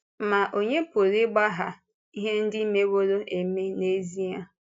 Ma ònye pụrụ ị̀gbàghà ihe ndị mewòrò eme n’ezie?